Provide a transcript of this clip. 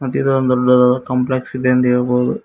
ಇದೊಂದು ದೊಡ್ಡದಾದ ಕಾಂಪ್ಲೆಕ್ಸ್ ಇದೆ ಎಂದು ಹೇಳಬಹುದು.